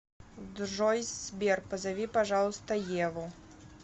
джой сбер позови пожалуйста еву